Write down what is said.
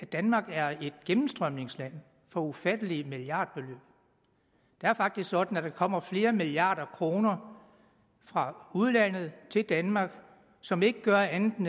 danmark er et gennemstrømningsland for ufattelige milliardbeløb det er faktisk sådan at der kommer flere milliarder kroner fra udlandet til danmark som ikke gør andet